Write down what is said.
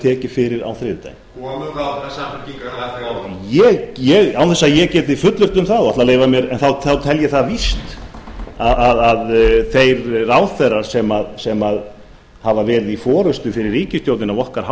tekin fyrir á þriðjudag komu þar allir samfylkingarmenn að borðum án þess að ég geti fullyrt um það þá tel ég það víst að þeir ráðherrar sem hafa verið í forustu fyrir ríkisstjórnina af okkar